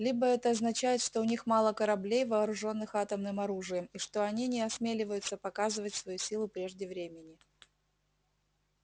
либо это означает что у них мало кораблей вооружённых атомным оружием и что они не осмеливаются показывать свою силу прежде времени